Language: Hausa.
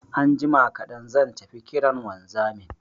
Anjima kaɗan zan tafi kiran wanzamin